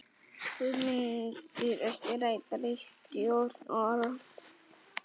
Hugmyndir ekki ræddar í stjórn OR